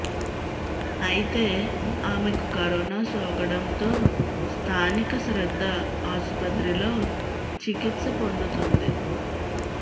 అయితే ఆమెకు కరోనా సోకడంతో స్థానిక శ్రద్ధ ఆసుపత్రిలో చికిత్స పొందుతోంది